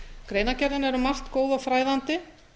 greinargerðin er um margt góð og fræðandi